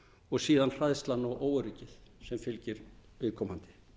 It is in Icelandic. og síðan hræðslan og óöryggið sem fylgir viðkomandi